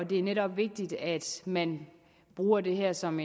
det er netop vigtigt at man bruger det her som